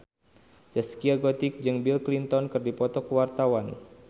Zaskia Gotik jeung Bill Clinton keur dipoto ku wartawan